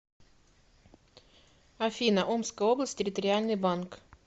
афина омская область территориальный банк